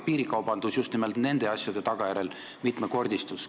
Piirikaubandus just nimelt selle tagajärjel mitmekordistus.